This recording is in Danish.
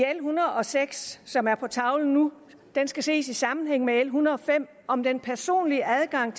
hundrede og seks som er på tavlen nu skal ses i sammenhæng med l en hundrede og fem om den personlige adgang